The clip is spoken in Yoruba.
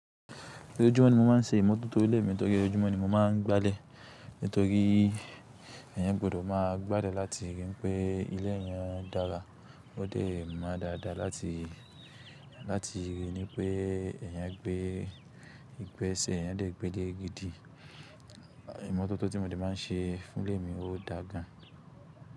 Ojúmọ́ ni mo máà ń ṣe ìmotótó ilé mi nítorí ojúmọ́ ni mo máa ń gba'lé. Nítorí èyàn gbọ́dọ̀ máa gbalé láti rí pé ilé èyàn dára, ó dẹ̀ mọ́ dáadáa láti, láti rí i ní pé èyàn gbé ìgbẹ́ sẹ̀, èyàn dẹ̀ gbé gidi. Ìmọ́tótó tí mo de máa ń ṣe fún ilé mi o dáa gan.